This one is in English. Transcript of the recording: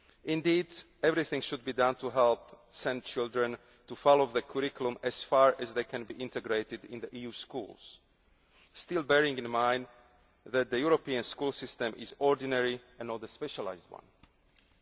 SEN pupils. Indeed, everything should be done to help SEN children to follow the curriculum as far as they can be integrated in the European Schools, while bearing in mind that the European Schools are ordinary schools and not specialised